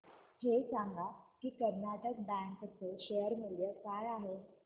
हे सांगा की कर्नाटक बँक चे शेअर मूल्य काय आहे